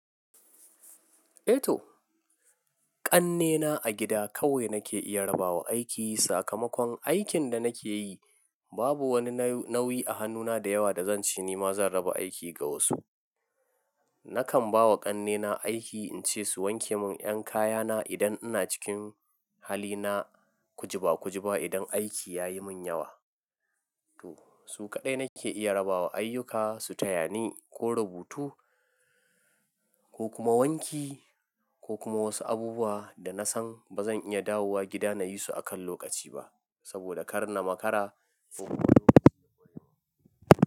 E to, ƙannena a gida kawai nake iya rabawa aiki. Sakamakon aikin da nake yi babu wani nauyi a hannuna da yawa da zan ce nima zan raba aiki ga wasu. Nakan ba wa ƙannena aiki in ce su wanke mun 'yan kayana idan ina cikin halina kujiba kujiba, idan aiki ya yi mun yawa. To su kaɗai nake iya rabawa ayyuka su taya ni ko rubutu ko kuma wanki ko kuma wasu abubuwa da na san ba zan iya dawowa gida na yi su a kan lokaci ba saboda kar na makara, ko kuma lokaci ya kure man.